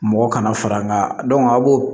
Mɔgɔ kana fara an ka dɔn a b'o